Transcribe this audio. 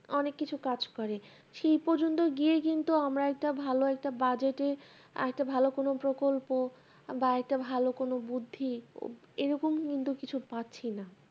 অনেক কিছু কাজ করে সেই পর্যন্ত গিয়ে কিন্তু আমরা একটা ভালো একটা budget এ একটা ভালো কোনো প্রকল্প বা একটা ভালো কোনো বুদ্ধি এরকম কিন্তু কিছু পাচ্ছিনা